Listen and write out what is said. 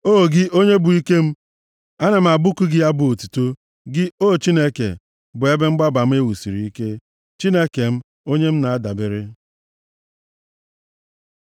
O, gị onye bụ ike m, ana m abụku gị abụ otuto; gị, o Chineke, bụ ebe mgbaba m e wusiri ike, Chineke m, onye m na-adabere.